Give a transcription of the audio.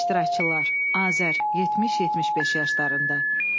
İştirakçılar: Azər, 70-75 yaşlarında.